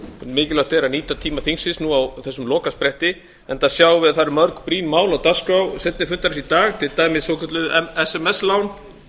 mikilvægt er að nýta tíma þingsins núna á þessum lokaspretti enda sjáum við að það eru mörg brýn mál á dagskrá seinni fundarins í dag til dæmis svokölluð sms lán